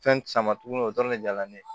Fɛn sama tuguni o dɔrɔn de jara ne ye